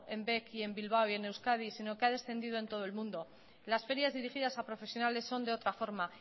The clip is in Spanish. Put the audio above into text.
en bec y en bilbao y en euskadi sino que ha descendido en todo el mundo las ferias dirigidas a profesionales son de otra forma